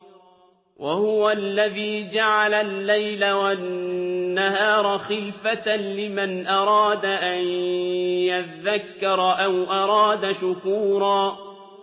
وَهُوَ الَّذِي جَعَلَ اللَّيْلَ وَالنَّهَارَ خِلْفَةً لِّمَنْ أَرَادَ أَن يَذَّكَّرَ أَوْ أَرَادَ شُكُورًا